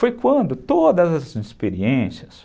Foi quando todas as experiências...